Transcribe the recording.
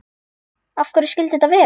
Af hverju skyldi þetta vera?